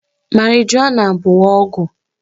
Marijuana bụ ọgwụ